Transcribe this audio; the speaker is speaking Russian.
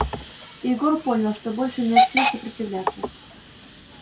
егор понял что больше нет сил сопротивляться